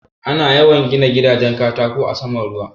Ana yawan gina gidajen katako a saman ruwa.